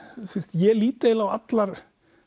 ég lít eiginlega á allar